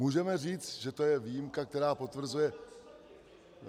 Můžeme říct, že to je výjimka, která potvrzuje...